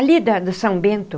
Ali da do São Bento.